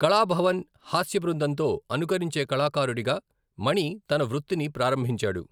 కళాభవన్ హాస్య బృందంతో అనుకరించే కళాకారుడిగా మణి తన వృత్తిని ప్రారంభించాడు.